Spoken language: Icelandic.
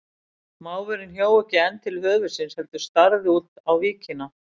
Máfurinn hjó ekki enn til höfuðsins heldur starði út á víkina.